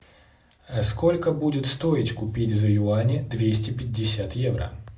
сколько будет стоить купить за юани двести пятьдесят евро